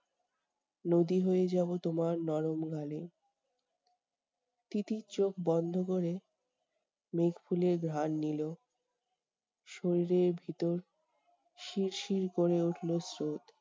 নদী হয়ে যাবো তোমার নরম গালে। তিতির চোখ বন্ধ করে, মেঘফুলের ঘ্রাণ নিলো। শরীরের ভিতর শিরশির করে উঠলো স্রোত।